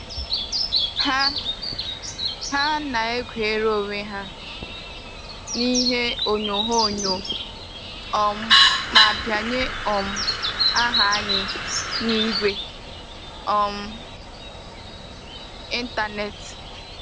Ha Ha na-egwere onwe ha n'ihe onyoghonyoo um ma bianye um aha anyị n'igwe um ịntanetị